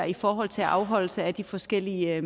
i forhold til afholdelse af de forskellige